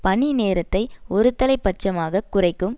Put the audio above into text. பணி நேரத்தை ஒருதலை பட்சமாக குறைக்கும்